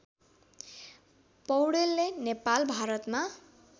पौडेलले नेपाल भारतमा